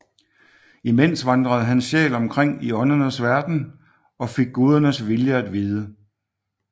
Imens vandrede hans sjæl omkring i åndernes verden og fik gudernes vilje at vide